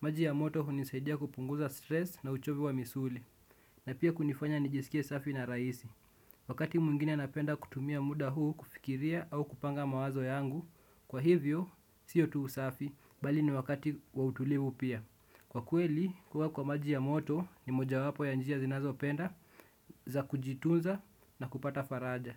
Maji ya moto hunisaidia kupunguza stress na uchovu wa misuli. Na pia kunifanya nijisikie safi na rahisi. Wakati mwngine napenda kutumia muda huu kufikiria au kupanga mawazo yangu. Kwa hivyo, siyo tu usafi, bali ni wakati wa utulivu pia kwa kweli, kuwa kwa maji ya moto ni moja wapo ya njia zinazo penda za kujituza na kupata faraja.